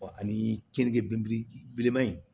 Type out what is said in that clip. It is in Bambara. ani keninke bilenman in